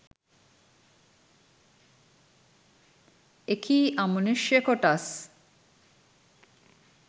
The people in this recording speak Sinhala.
එකී අමනුෂ්‍ය කොටස්